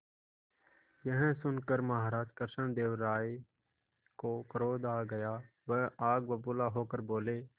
यह सुनकर महाराज कृष्णदेव राय को क्रोध आ गया वह आग बबूला होकर बोले